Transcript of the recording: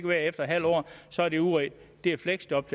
være efter en halv år så er de udredt det er et fleksjob